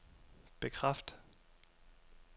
bekræft